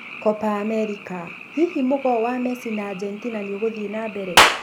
Kopa Amerika: hihi mũgoo wa messi na Argentina nĩũgũthiĩ na mbere?